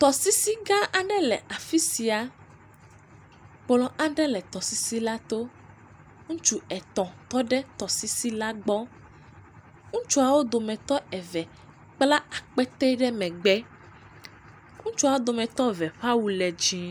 Tɔsisi gã aɖe le afi sia, kplɔ aɖe le tɔsisis la to, ŋutsu etɔ̃ tɔ ɖe tɔsisi la gbɔ, ŋutsuawo dometɔ kpla akpete ɖe megbe, ŋutsua wo dometɔ eve ƒe awu le dzɛ̃.